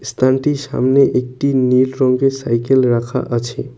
দোকানটির সামনে একটি নীল রঙ্গের সাইকেল রাখা আছে।